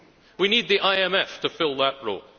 We need the IMF to fill that role.